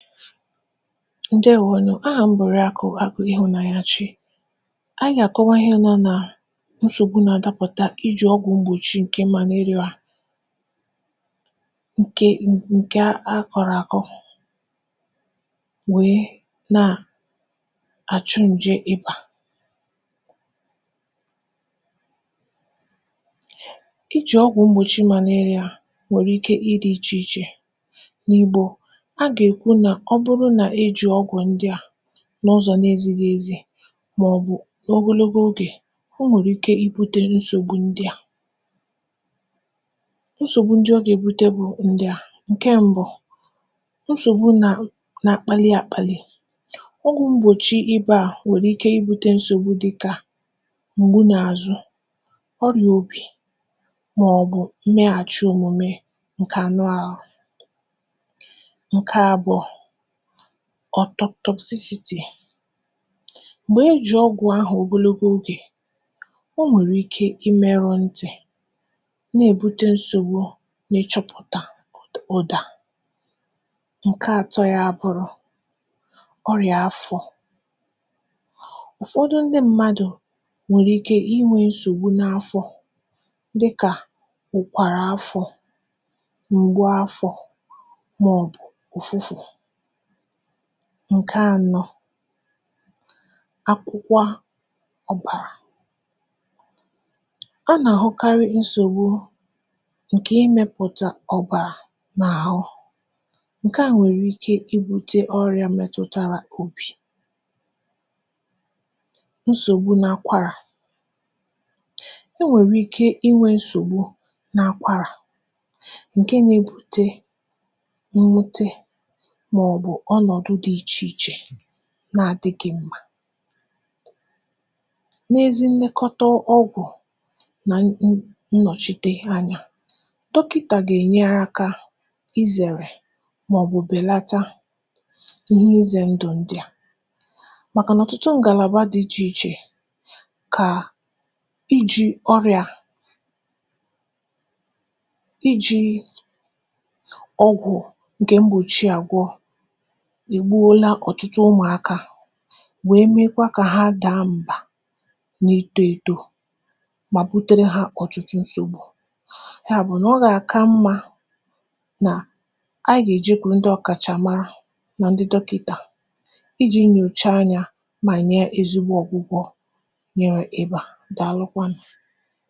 ǹdèwo nụ̀. ahà m bụ̀ Òriàkụ Agụ̄ Ịhụ̀nanyachi. anyị gà àkọwa ịhẹ nọ̄ nà nsògbu na adapụ̀ta nà ijì ọgwụ̄ mgbòchi, ǹkẹ Malaria, ǹkè ǹkè a kọ̀rọ̀ àkọ, wèe nà àchụ ǹjẹ ịbà. ijì ọgwụ̀ mgbòchi malaria nwẹ̀rẹ̀ ike ị dị̄ ichè ichè. n’ìgbò, a nà èkwu nà ọ bụrụ nà e jìi ọgwụ̀ ndịà, n’ụzọ na ezighi ezi, mà ọ̀ bụ̀ n’ogonogo ogè, o nwèrè ike I bute nsògbu ndịà. nsògbu ndị ọ gà èbute bụ ndịà, ǹkẹ mbụ bụ̀, nsògbu na akpalị akpalị. ọgwụ mgbòchi ibà nwèrè ike I būte nsògbu dịkà m̀gbu nà àzụ, ọrị̀à obi, mà ọ̀ nnyẹghàchị omume ǹkẹ̀ anụ ahụ. ǹkẹ abụọ̄, autop toxicity. m̀gbè e jì ọgwụ̀ ahụ̀ ogologo ogè, o nwèrè ike ị mẹrụ ntì, nà èbute nsògbu na ị chọpụ̀tà ụ̀dà. ǹkẹ atọ ya bụrụ, ọrị̀à afọ̄. ụ̀fọdị ndị mmadù nwèrè ike I nwē nsògbu n’afọ, dịkà ùkwàrà afọ̄, ngwa afọ̄, mà ọ̀ ùfufù. ǹkẹ anọ, akwụkwa ọ̀bàrà. a nà àhụkarị nsògbu, ǹkè ịmẹ̄pụ̀tà ọ̀bàrà n’àhụ. ǹkẹ à nwèrè ike I būje ọyā mẹtụtara obì. nsògbu n’akwarà. e nwèrè ike ị nwē nsògbu n’akwara, ǹkẹ na ebute mwute, mà ọ̀ bụ̀ ọnọ̀dụ dị ichè ichè na adịghị mmā, n’ezi nnẹkọta ọgwụ̀, nà nnọ̀chite anyā. dọkịtà gà ènyere akā ị zẹ̀rẹ̀, mà ọ̀ bụ̀ bèlata ihe ịzẹ ndụ̀ ndịà, màkà nà ọ̀tụtụ ngàlàba dị ichè ichè kà ijī ọrịà, ijī ọgwụ ǹkè mgbòchi àgwọ, è gbuola ọtụtụ ụmụ̀akā, wèe mekwa kà ha da mbà nà itō eto, mà butere ha ọ̀tụtụ nsògbu. yà bụ̀ nà ọ gà àka mmā nà anyị gà èjekwuru ndị ọ̀kàchàmara nan dị dọkịtà, I jī nyòcha anyā, mà nyẹ ezigbo ọ̀gwụgwọ nyẹ ịbà. Dàalụkwanụ̀.